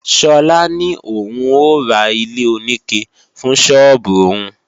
Sola ní òun ó ra ilé-oníke fún sọ́ọ́bù òun